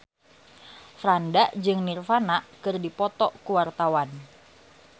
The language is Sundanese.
Franda jeung Nirvana keur dipoto ku wartawan